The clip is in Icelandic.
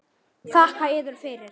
Þakka yður fyrir.